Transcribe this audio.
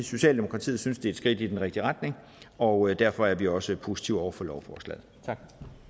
socialdemokratiet synes det er et skridt i den rigtige retning og derfor er vi også positive over for lovforslaget tak